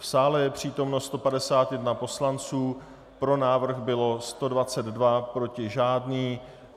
V sále je přítomno 151 poslanců, pro návrh bylo 122, proti žádný.